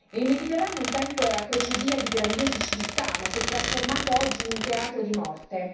Il Mediterraneo un tempo era crocevia di grandiose civiltà, ma si è trasformato oggi in un teatro di morte.